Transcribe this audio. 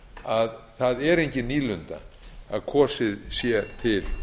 að það er engin nýlunda að kosið sé til